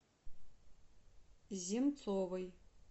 земцовой